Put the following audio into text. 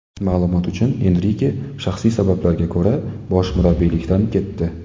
Ma’lumot uchun, Enrike shaxsiy sabablarga ko‘ra bosh murabbiylikdan ketdi.